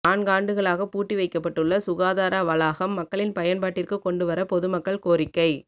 நான்காண்டுகளாக பூட்டி வைக்கப்பட்டுள்ள சுகாதார வளாகம் மக்களின் பயன்பாட்டிற்கு கொண்டு வர பொதுமக்கள் கோரிக்கை